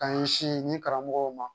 K'an ɲɛsin ni karamɔgɔw ma